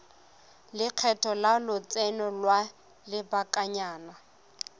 lekgetho la lotseno lwa lobakanyana